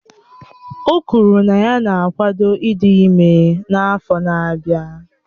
O kwuru na ya na-akwado ịdị ime n'afọ n'abia.